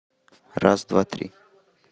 раз два три